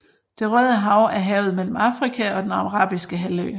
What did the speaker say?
Det Røde Hav er havet mellem Afrika og den Arabiske Halvø